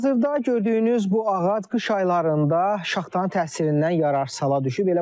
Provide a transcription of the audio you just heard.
Hazırda gördüyünüz bu ağac qış aylarında şaxtanın təsirindən yararsız hala düşüb.